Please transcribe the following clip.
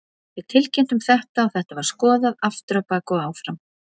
Við tilkynntum þetta og þetta var skoðað aftur á bak og áfram.